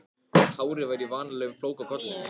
Hárið var í vanalegum flóka á kollinum.